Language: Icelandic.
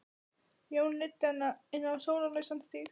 Jón leiddi hana inn á sólarlausan stíg.